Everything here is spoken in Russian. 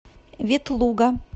ветлуга